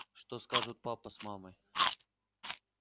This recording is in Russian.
что скажут папа с мамой